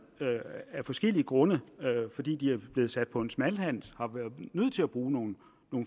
af forskellige grunde fordi de er blevet sat på smalhals har været nødt til at bruge nogle